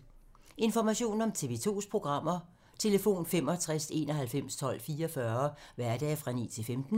Information om TV 2's programmer: 65 91 12 44, hverdage 9-15.